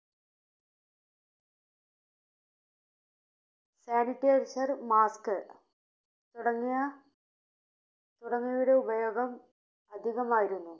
Sanitizer, Mask തുടങ്ങിയ തുടങ്ങിയ തുടങ്ങിയവയുടെ ഉപയോഗം അധികമായിരുന്നു.